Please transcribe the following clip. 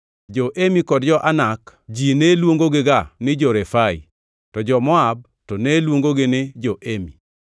Jo-Emi kod jo-Anak ji ne luongogiga ni jo-Refai, to jo-Moab to ne luongogi ni jo-Emi.